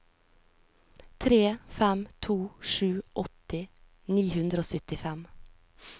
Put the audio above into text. tre fem to sju åtti ni hundre og syttifem